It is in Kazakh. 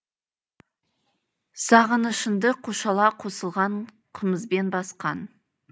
сағынышыңды қушала қосылған қымызбен басқан